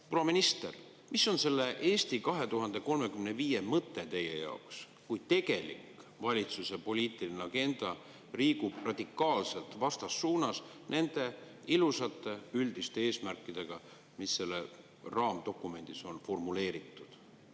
Proua minister, mis on selle "Eesti 2035" mõte teie jaoks, kui tegelik valitsuse poliitiline agenda liigub radikaalselt vastassuunas nende ilusate üldiste eesmärkidega, mis selles raamdokumendis on formuleeritud?